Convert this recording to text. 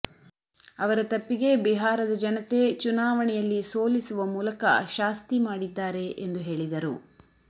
ಅವರ ತಪ್ಪಿಗೆ ಬಿಹಾರದ ಜನತೆ ಚುನಾವಣೆಯಲ್ಲಿ ಸೋಲಿಸುವ ಮೂಲಕ ಶಾಸ್ತಿ ಮಾಡಿದ್ದಾರೆ ಎಂದು ಹೇಳಿದರು